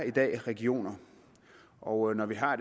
i dag er regioner og når vi har